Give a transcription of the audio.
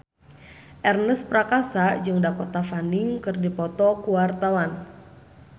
Ernest Prakasa jeung Dakota Fanning keur dipoto ku wartawan